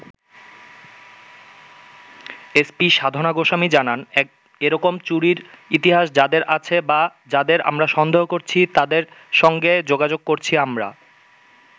S P Sadhana Goswami জানান, এরকম চুরির ইতিহাস যাদের আছে বা যাদের আমরা সন্দেহ করছি, তাদের সঙ্গে যোগাযোগ করছি আমরা।